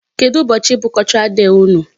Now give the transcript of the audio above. Kedụ ụbọchị bụ Cultural day unu?